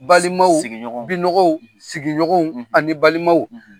Balimaw sigi sigiɲɔgɔnw binɔgɔw sigiɲɔgɔnw ani balimaw